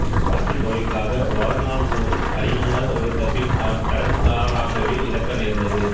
பாக்கித் தொகைக்காக வாழ்நாள் முழுவதும் அடிமையாக உழைத்தபின் அவன் கடன் காரனாகவே இறக்க நேர்ந்தது